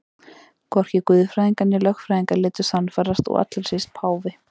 Hvorki guðfræðingar né lögfræðingar létu sannfærast og allra síst páfi.